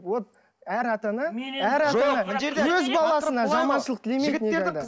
вот әр ата ана әр ата ана өз баласына жаманшылық тілемейді никогда